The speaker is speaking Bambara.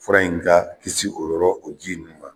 Fura in ka kisi o yɔrɔ o ji ninnu ma.